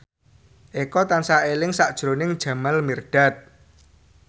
Eko tansah eling sakjroning Jamal Mirdad